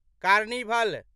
carnival